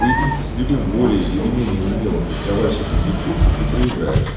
поединки с любым более или менее умелым фехтовальщиков якудзы ты проиграешь